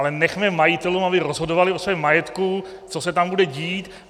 Ale nechme majitelům, aby rozhodovali o svém majetku, co se tam bude dít.